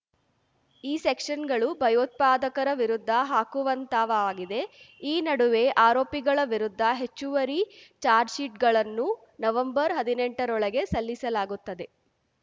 ಈ ಸೆಕ್ಷನ್‌ಗಳು ಭಯೋತ್ಪಾದಕರ ವಿರುದ್ಧ ಹಾಕುವಂಥವಾಗಿವೆ ಈ ನಡುವೆ ಆರೋಪಿಗಳ ವಿರುದ್ಧ ಹೆಚ್ಚುವರಿ ಚಾರ್ಜ್ ಶೀಟ್ ಗಳನ್ನು ನವೆಂಬರ್ಹದಿನೆಂಟರೊಳಗೆ ಸಲ್ಲಿಸಲಾಗುತ್ತದೆ